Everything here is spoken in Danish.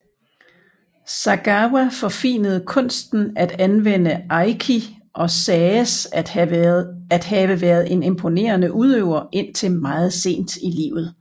Sagawa forfinede kunsten at anvende aiki og sagdes at have været en imponerende udøver indtil meget sent i livet